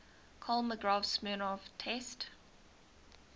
kolmogorov smirnov test